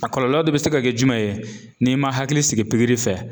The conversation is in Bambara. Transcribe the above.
A kɔlɔlɔ dɔ bɛ se ka kɛ jumɛn ye n'i ma hakili sigi pikiri fɛ